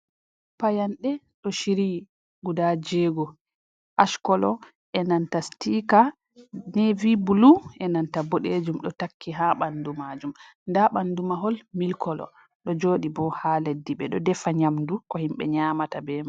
Payanɗe ɗo shiryi guda jeego ash kolo e nanta sitika nevy bulu, e nanta boɗeejum ɗo takki ha ɓandu maajum nda ɓandu mahol milik kolo ɗo jooɗi bo ha leddi, ɓe ɗo defa nyamdu ko himɓe nyamata be.